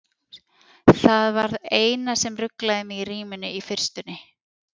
Það var það eina sem ruglaði mig í ríminu í fyrstunni.